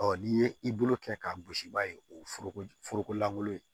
Ɔ n'i ye i bolo kɛ k'a gosi i b'a ye o foroko foroko lankolon ye